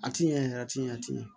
A ti ɲɛ yɛrɛ a ti ɲɛ a ti ɲɛ